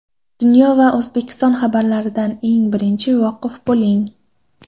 Dunyo va O‘zbekiston xabarlaridan eng birinchi voqif bo‘ling.